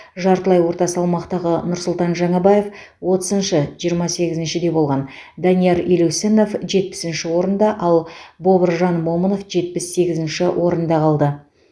жартылай орта салмақтағы нұрсұлтан жаңабаев отызыншы жиырма сегізіншіде болған данияр елеусінов жетпісінші орында ал бобыржан момынов жетпіс сегізінші орында қалды